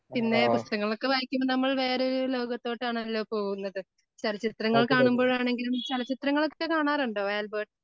പിന്നെ പുസ്തകങ്ങളൊക്കെ വായിക്കുമ്പോ നമ്മൾ വേറൊരു ലോകത്തോട്ട് ആണല്ലോ പോകുന്നത് ചലച്ചിത്രങ്ങൾ കാണുമ്പോഴാണെങ്കിലും ചലച്ചിത്രങ്ങളൊക്കെ കാണാറുണ്ടോ ആൽബർട്ട്?